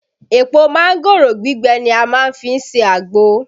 Èpò mángòrò gbígbẹ ni a má ń fi ṣe àgbò